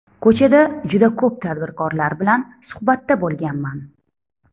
Ko‘chada juda ko‘p tadbirkorlar bilan suhbatda bo‘lganman.